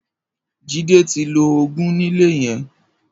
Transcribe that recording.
Jide ti ló ógùn nilé yèn